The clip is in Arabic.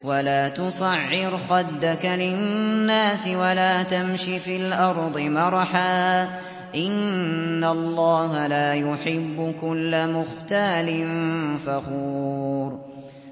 وَلَا تُصَعِّرْ خَدَّكَ لِلنَّاسِ وَلَا تَمْشِ فِي الْأَرْضِ مَرَحًا ۖ إِنَّ اللَّهَ لَا يُحِبُّ كُلَّ مُخْتَالٍ فَخُورٍ